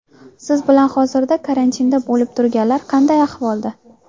Siz bilan hozirda karantinda bo‘lib turganlar qanday ahvolda?